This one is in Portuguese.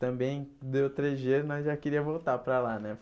Também deu três dias e nós já queríamos voltar para lá, né?